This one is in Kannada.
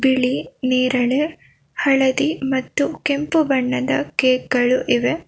ಬಿಳಿ ನೇರಳೆ ಹಳದಿ ಮತ್ತು ಕೆಂಪು ಬಣ್ಣದ ಕೇಕ್ ಗಳು ಇವೆ.